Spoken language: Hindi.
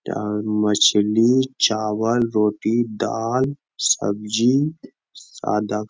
यहाँ मछली चावल रोटी दाल सब्जी सादा --